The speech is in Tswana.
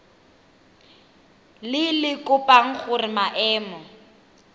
le le kopang gore maemo